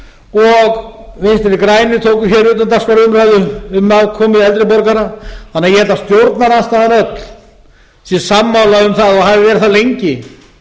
og vinstri grænir tóku utandagskrárumræðu um málefni eldri borgara þannig að ég held að stjórnarandstaðan öll sé sammála um það og hafi verið það lengi